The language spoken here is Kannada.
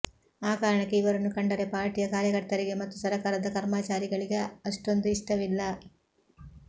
ಆ ಕಾರಣಕ್ಕೆ ಇವರನ್ನು ಕಂಡರೆ ಪಾರ್ಟಿಯ ಕಾರ್ಯಕರ್ತರಿಗೆ ಮತ್ತು ಸರಕಾರದ ಕರ್ಮಾಚಾರಿಗಳಿಗೆ ಅಷ್ಟೊಂದು ಇಷ್ಟವಿಲ್ಲ